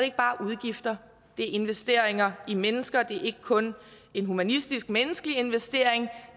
ikke bare udgifter så det investeringer i mennesker det er ikke kun en humanistisk menneskelig investering